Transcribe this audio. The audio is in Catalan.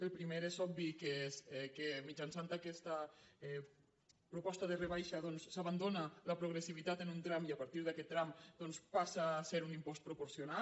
el primer és obvi que mitjançant aquesta proposta de rebaixa doncs s’abandona la progressivitat en un tram i a partir d’aquest tram passa a ser un impost proporcional